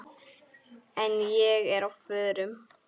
En ég er á förum.